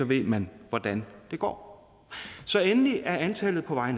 ved man hvordan det går så endelig er antallet på vej